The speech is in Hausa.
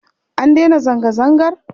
An daina zanga-zangar?